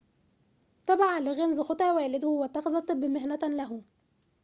تبع ليغينز خطى والده واتخذ الطب مهنة له